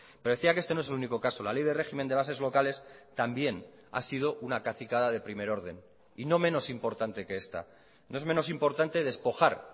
pero decía que este no es el único caso la ley de régimen de bases locales también ha sido una cacicada de primer orden y no menos importante que esta no es menos importante despojar